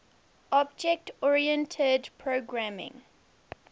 object oriented programming